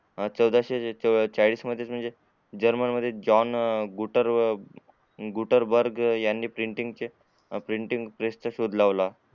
चौदाशे चाळीस मध्ये जर्मन जॉन गुटर गुटरबर्ग यांनी पेंटिंग चे पेंटिंग प्रेस चा शोध लावला